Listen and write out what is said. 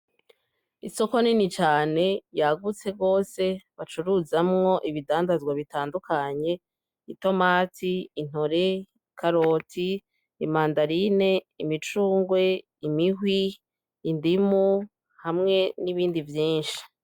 Isoko nini cane yagutse rwose bacuruzamwo ibidandazwa bitandukanye: itomati, intore, ikaroti, imandarine, imicungwe, imihwi, indimu hamwe n'ibindi vyinshi.